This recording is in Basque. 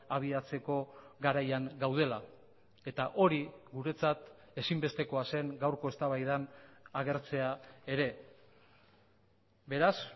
abiatzeko garaian gaudela eta hori guretzat ezinbestekoa zen gaurko eztabaidan agertzea ere beraz